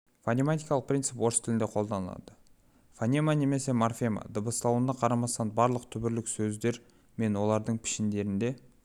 фонематикалық принцип орыс тілінде қолданылады фонема немесе морфема дыбысталуына қарамастан барлық түбірлік сөздер мен олардың пішіндерінде